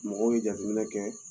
Mɔgɔw ye jateminɛ kɛ